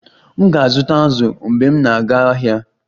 M ga-azụta azụ mgbe m na-aga ahịa